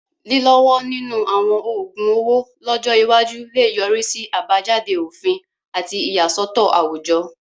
Lílọ́wọ́ nínú àwọn oògun owó lọ́jọ́ iwájú lè yọrí sí àbájáde òfin àti ìyàsọ́tọ̀ àwùjọ.